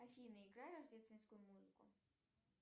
афина играй рождественскую музыку